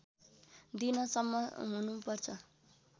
दिन सम्म हुनु पर्छ